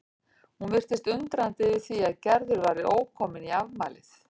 Hún virtist undrandi yfir því að Gerður væri ókomin í afmælið.